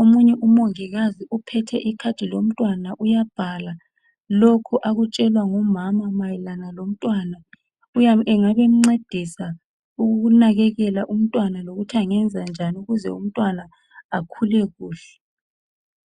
Omunye umongikazi uphethe ikhadi lomntwana uyabhala lokhu akutshelwa ngumama mayelana lomntwana. Engabe emncedisa ukunakekela umntwana lokuthi angenza njani ukuze umntwana akhule kuhle.